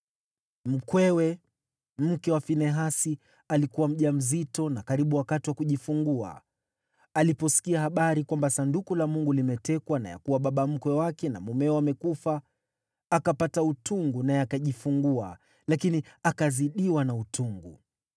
Mkwewe, mke wa Finehasi, alikuwa mjamzito na karibu wakati wa kujifungua. Aliposikia habari kwamba Sanduku la Mungu limetekwa na ya kuwa baba mkwe wake na mumewe wamekufa, akapata utungu naye akajifungua lakini akazidiwa na utungu.